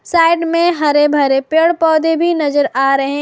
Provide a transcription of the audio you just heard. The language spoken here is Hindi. साइड में हरे भरे पेड़ पौधे भी नजर आ रहे हैं।